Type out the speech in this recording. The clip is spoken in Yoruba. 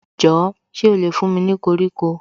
Jọ̀ọ́ ṣé ó lè fún mi ní koríko